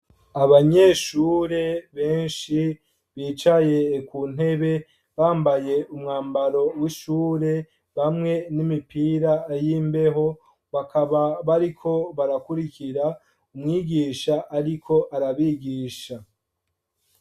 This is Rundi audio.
Abanyeshure benshi bicaye kuntebe bambaye umwambaro wishure ,bamwe n’imipira yimbeho ,bakaba bariko barakurikira mwigisha ariko arabigisha.